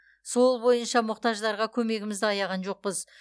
сол бойынша мұқтаждарға көмегімізді аяған жоқпыз